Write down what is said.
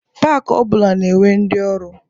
Pak ọ bụla na-enwe ndị ọrụ.